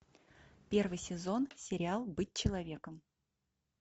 первый сезон сериал быть человеком